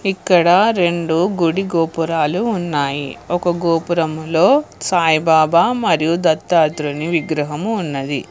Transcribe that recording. ఇక్కడ రెండు గుడి గోపురాలు ఉన్నాయి ఒక గోపురంలో సాయిబాబా మరియు దత్తాత్రేయుని విగ్రహము ఉన్నది